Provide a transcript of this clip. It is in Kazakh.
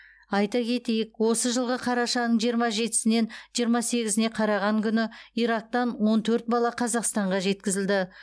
айта кетейік осы жылғы қарашаның жиырма жетісінен жиырма сегізіне қараған күні ирактан он төрт бала қазақстанға жеткізілді